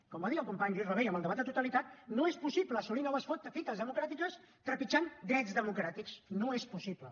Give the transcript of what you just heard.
com va dir el company lluís rabell en el debat de totalitat no és possible assolir noves fites democràtiques trepitjant drets democràtics no és possible